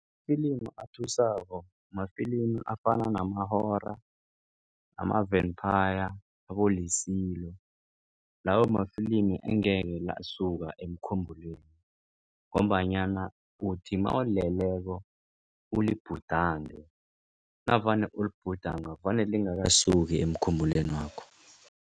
Ifilimi athusako mafilimi afana nama-Horror, ama-Vampire, abo-Lesilo lawo mafilimi engekhe lasuka emkhumbulweni. Ngombanyana uthi mawuleleko ulibhudange navane ulibhudanga vane lingakasuki emkhumbulwenakho.